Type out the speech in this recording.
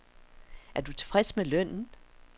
Er du tilfreds med lønnen.